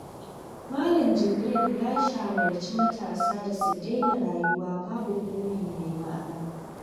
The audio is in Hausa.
Malam Jibrin ya shawarci matasa da su daina rayuwa babu buri mai ma'ana.